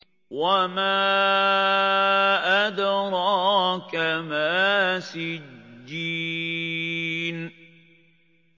وَمَا أَدْرَاكَ مَا سِجِّينٌ